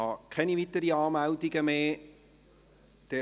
Ich habe keine weiteren Anmeldungen erhalten.